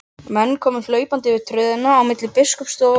Menn komu hlaupandi yfir tröðina á milli biskupsstofu og kirkju.